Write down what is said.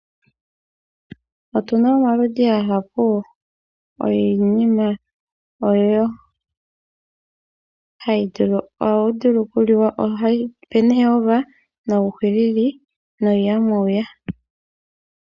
Otuna omaludhi ogendji giinima mbyono hayi vulu okuliwa. Otuna ooweya, uuhilili nayilwe.